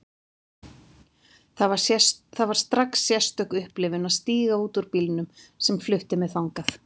Það var strax sérstök upplifun að stíga út úr bílnum sem flutti mig þangað.